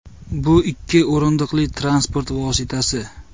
Bu ikki o‘rindiqli transport vositasi.